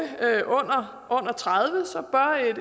under tredive